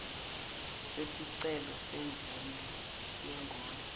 sesicelo semvume yengodla